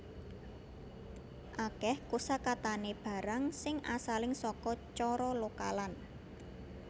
Akeh kosakatane barang sing asaling saka cara lokalan